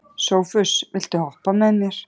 Sophus, viltu hoppa með mér?